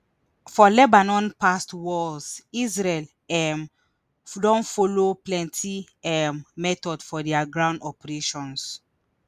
for lebanon past wars israel um don follow plenti um methods for dia ground operations